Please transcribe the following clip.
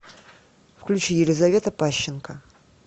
включи елизавета пащенко